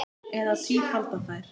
Eða tífalda þær.